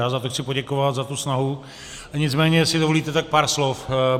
Já za to chci poděkovat, za tu snahu, nicméně jestli dovolíte, tak pár slov.